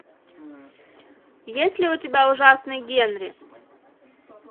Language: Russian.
есть ли у тебя ужасный генри